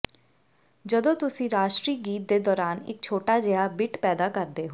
ਜਦੋਂ ਤੁਸੀਂ ਰਾਸ਼ਟਰੀ ਗੀਤ ਦੇ ਦੌਰਾਨ ਇੱਕ ਛੋਟਾ ਜਿਹਾ ਬਿੱਟ ਪੈਦਾ ਕਰਦੇ ਹੋ